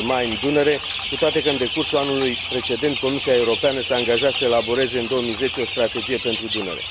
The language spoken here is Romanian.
Main Dunăre, cu toate că, în decursul anului precedent, Comisia Europeană s a angajat să elaboreze în 2010 o strategie pentru Dunăre.